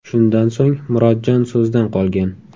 Shundan so‘ng Murodjon so‘zdan qolgan.